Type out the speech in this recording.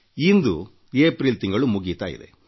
ಇಂದು April ತಿಂಗಳು ಮುಗಿಯುತ್ತಾ ಇದೆ